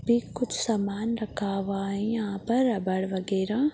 ये कुछ समान रखा हुआ हैं यहाँ पर रबर वैगरा --